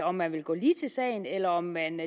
om man vil gå lige til sagen eller om man